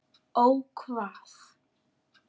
Ó hvað?